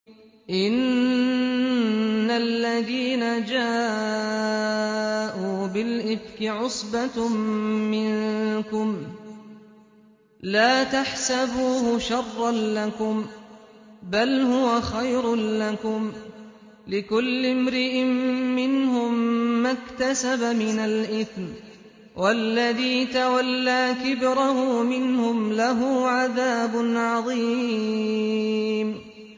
إِنَّ الَّذِينَ جَاءُوا بِالْإِفْكِ عُصْبَةٌ مِّنكُمْ ۚ لَا تَحْسَبُوهُ شَرًّا لَّكُم ۖ بَلْ هُوَ خَيْرٌ لَّكُمْ ۚ لِكُلِّ امْرِئٍ مِّنْهُم مَّا اكْتَسَبَ مِنَ الْإِثْمِ ۚ وَالَّذِي تَوَلَّىٰ كِبْرَهُ مِنْهُمْ لَهُ عَذَابٌ عَظِيمٌ